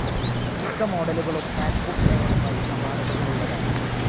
മിക്ക മോഡലുകളും മാക്ബുക്ക് എയറുമായി സമാനതകളുള്ളതാണ്.